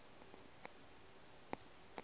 le ka ntle ga naga